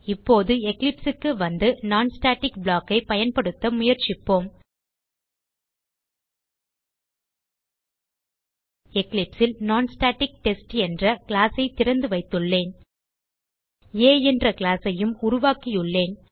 இப்போது எக்லிப்ஸ் க்கு வந்து non ஸ்டாட்டிக் ப்ளாக் ஐ பயன்படுத்த முயற்சிப்போம் எக்லிப்ஸ் ல் நான்ஸ்டாடிக்டெஸ்ட் என்ற கிளாஸ் ஐ திறந்து வைத்துள்ளேன் ஆ என்ற கிளாஸ் ஐயும் உருவாக்கியுள்ளேன்